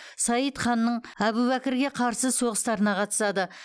саид ханның әбубәкірге қарсы соғыстарына қатысады